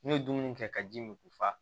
N'u ye dumuni kɛ ka ji min k'u fa